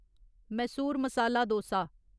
Mysore masala dosa